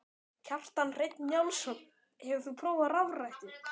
Kjartan Hreinn Njálsson: Hefur þú prófað rafrettu?